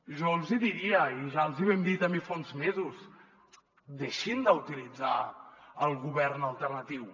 jo els hi diria i ja els hi vam dir també fa uns mesos deixin d’utilitzar el govern alternatiu